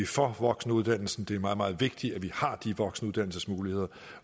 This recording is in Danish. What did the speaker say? for voksenuddannelsen det er meget meget vigtigt at vi har de voksenuddannelsesmuligheder